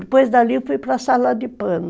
Depois dali eu fui para a sala de pano.